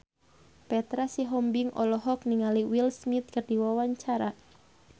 Petra Sihombing olohok ningali Will Smith keur diwawancara